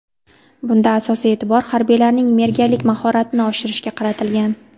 Bunda asosiy e’tibor harbiylarning merganlik mahoratini oshirishga qaratilgan.